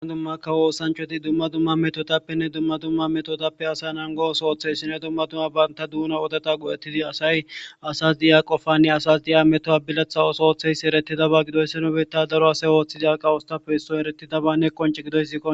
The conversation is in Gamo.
Dumma dumma kawo oosanchati dumma dumma metotapenne dumma dumma metotappe asa nango oothuwa oothizayssinne dumma banta duuna odeta go'eti asay asas diya qofanne asas diya metuwa biletha ootho oothizayssi eretidoba gidoyssa nu biita daro asay oothida kawotappe issoy eretidobanne qoncce gidoyssi qoncce.